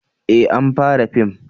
eh an fara fim